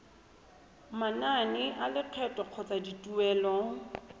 manane a lekgetho kgotsa dituelo